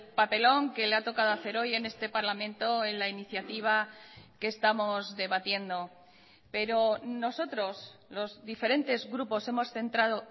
papelón que le ha tocado hacer hoy en este parlamento en la iniciativa que estamos debatiendo pero nosotros los diferentes grupos hemos centrado